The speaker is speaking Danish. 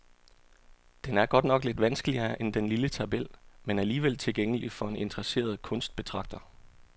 Den er godt nok lidt vanskeligere end den lille tabel, men alligevel tilgængelig for en interesseret kunstbetragter.